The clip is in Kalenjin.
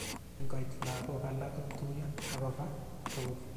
Kingoit lagok alak kotuiyo akova tugul